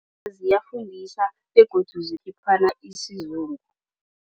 Ziyathengisa begodu zikhiphana isizungu.